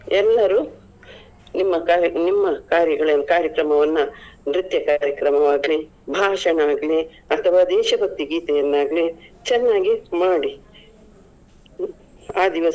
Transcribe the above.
ಎಲ್ಲರೂ ನಿಮ್ಮ ಕಾರ್ಯ ನಿಮ್ಮ ಕಾರ್ಯ~ ಕಾರ್ಯಕ್ರಮವನ್ನ ನೃತ್ಯ ಕಾರ್ಯಕ್ರಮ ಆಗ್ಲಿ, ಭಾಷಣ ಆಗ್ಲಿ ಅಥವಾ ದೇಶಭಕ್ತಿ ಗೀತೆಯನ್ನ ಆಗ್ಲಿ ಚೆನ್ನಾಗಿ ಮಾಡಿ ಆ ದಿವಸ.